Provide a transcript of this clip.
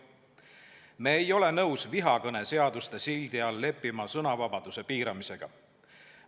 Me ei ole nõus vihakõne seaduste sildi all leppima sõnavabaduse piiramisega.